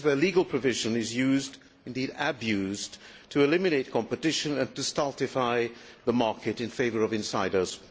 This is where legal provision is used, indeed abused, to eliminate competition and to stultify the market in favour of insiders.